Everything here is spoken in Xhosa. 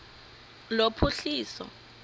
lophuhliso